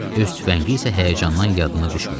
Öz tüfəngi isə həyəcandan yadına düşmürdü.